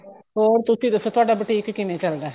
ਹੋਰ ਤੁਸੀਂ ਦੱਸੋ ਤੁਹਾਡਾ boutique ਕਿਵੇਂ ਚੱਲਦਾ